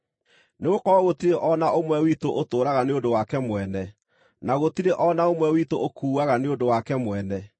Nĩgũkorwo gũtirĩ o na ũmwe witũ ũtũũraga nĩ ũndũ wake mwene, na gũtirĩ o na ũmwe witũ ũkuaga nĩ ũndũ wake mwene.